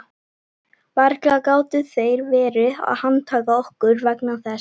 Varla gátu þeir verið að handtaka okkur vegna þess.